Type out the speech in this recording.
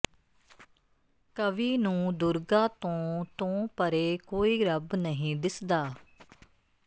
ਕਵੀ ਨੂੰ ਦੁਰਗਾ ਤੋਂ ਤੋਂ ਪਰੇ ਕੋਈ ਰੱਬ ਨਹੀਂ ਦਿਸਦਾ